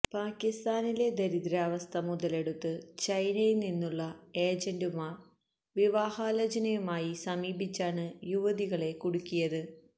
പാക്കിസ്ഥാനിലെ ദാരിദ്രാവസ്ഥ മുതലെടുത്ത് ചൈനയില് നിന്നുള്ള ഏജന്റുമാര് വിവാഹാലോചനയുമായി സമീപിച്ചാണ് യുവതികളെ കുടുക്കിയത്